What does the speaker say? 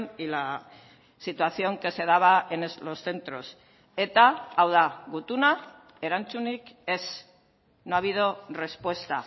y la situación que se daba en los centros eta hau da gutuna erantzunik ez no ha habido respuesta